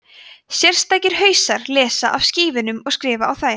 sérstakir hausar lesa af skífunum og skrifa á þær